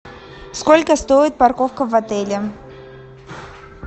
сколько стоит парковка в отеле